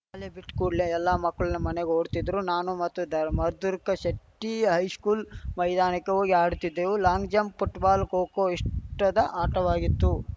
ಶಾಲೆ ಬಿಟ್ಕೂಡಲೇ ಎಲ್ಲಾ ಮಕ್ಳೂ ಮನೆಗೆ ಓಡುತ್ತಿದ್ರೆ ನಾನು ಮತ್ತು ಧರ್ ಮಧುರ್ಕ ಶೆಟ್ಟಿ ಹೈಶ್ಕುಲ್‌ ಮೈದಾನಕ್ಕೆ ಹೋಗಿ ಆಡುತ್ತಿದ್ದೆವು ಲಾಂಗ್‌ಜಂಪ್‌ ಪುಟ್‌ಬಾಲ್‌ ಖೋಖೋ ಇಷ್ಟದ ಆಟವಾಗಿತ್ತು